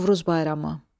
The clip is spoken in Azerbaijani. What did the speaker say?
Novruz bayramı.